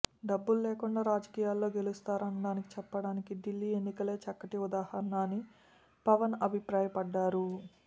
డబ్బులు లేకుండా రాజకీయాల్లో గెలుస్తారనడానికి చెప్పాడానికి ఢిల్లీ ఎన్నికలే చక్కటి ఉదాహరణ అని పవన్ అభిప్రాయపడ్డారు